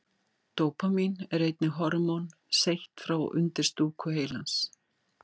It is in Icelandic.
Dópamín er einnig hormón seytt frá undirstúku heilans.